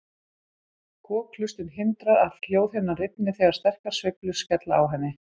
Kokhlustin hindrar að hljóðhimnan rifni þegar sterkar sveiflur skella á henni.